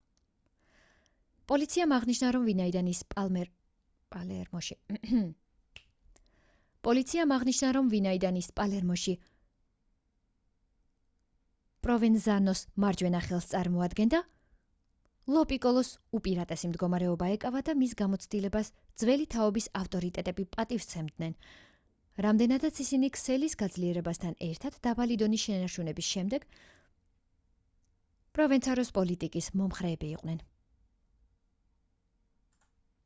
პოლიციამ აღნიშნა რომ ვინაიდან ის პალერმოში პროვენზანოს მარჯვენა ხელს წარმოადგენდა ლო პიკოლოს უპირატესი მდგომარეობა ეკავა და მის გამოცდილებას ძველი თაობის ავტორიტეტები პატივის სცემდნენ რამდენადაც ისინი ქსელის გაძლიერებასთან ერთად დაბალი დონის შენარჩუნების შესახებ პროვენცანოს პოლიტიკის მომხრენი იყვნენ